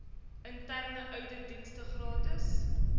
interne ouditdienste gratis